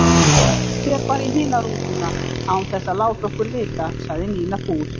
Hún fer bara í hina rútuna án þess að láta okkur vita, sagði Nína fúl.